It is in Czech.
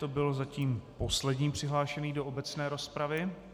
To byl zatím poslední přihlášený do obecné rozpravy.